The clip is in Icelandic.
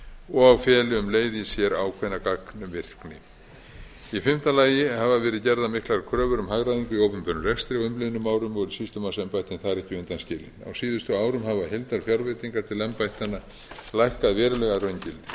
og feli um leið í sér ákveðna gagnvirkni í fimmta lagi hafa verið gerðar miklar kröfur um hagræðingu í opinberum rekstri á umliðnum og eru sýslumannsembættin þar ekki undan skilið á síðustu árum hafa heildarfjárveitingar til embættanna lækkað verulega að raungildi